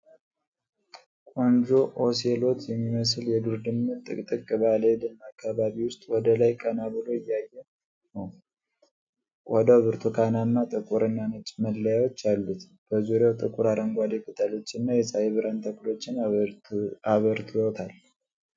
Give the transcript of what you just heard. ቆንጆ ኦሴሎት የሚመስል የዱር ድመት ጥቅጥቅ ባለ የደን አካባቢ ውስጥ ወደ ላይ ቀና ብሎ እያየ ነው። ቆዳው ብርቱካናማ፣ ጥቁርና ነጭ መለያዎች አሉት። በዙሪያው ጥቁር አረንጓዴ ቅጠሎችና የፀሐይ ብርሃን ተክሎችን አብርቶታል።